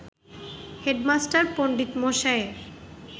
"headmaster পণ্ডিতমশায়ের